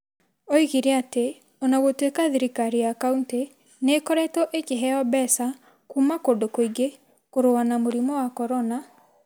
Oigire atĩ o na gũtuĩka thirikariya county nĩ ĩkoretwo ĩkĩheo mbeca kuuma kũndũ kũingĩ kũrũa na mũrimũ wa Korona,